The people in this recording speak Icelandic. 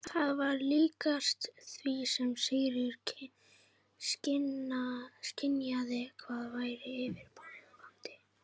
Það var líkast því sem Sigríður skynjaði hvað væri yfirvofandi.